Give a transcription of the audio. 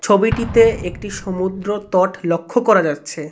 ছবিটিতে একটি সমুদ্রতট লক্ষ্য করা যাচ্ছে.